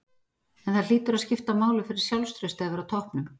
En það hlýtur að skipta máli fyrir sjálfstraustið að vera á toppnum?